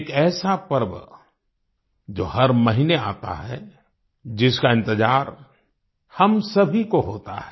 एक ऐसा पर्व जो हर महीने आता है जिसका इंतजार हम सभी को होता है